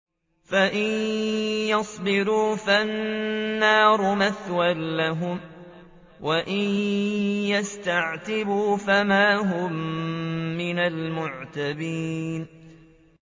فَإِن يَصْبِرُوا فَالنَّارُ مَثْوًى لَّهُمْ ۖ وَإِن يَسْتَعْتِبُوا فَمَا هُم مِّنَ الْمُعْتَبِينَ